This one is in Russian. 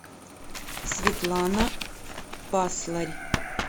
светлана пасларь